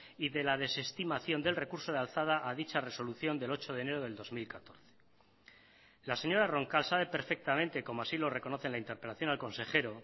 y de la desestimación del recurso de alzada a dicha resolución del ocho de enero del dos mil catorce la señora roncal sabe perfectamente como así lo reconoce en la interpelación al consejero